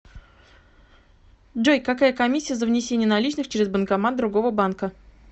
джой какая комиссия за внесение наличных через банкомат другого банка